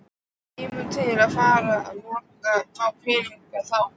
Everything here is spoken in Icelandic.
Kemur til með að fara að nota þá peninga þá?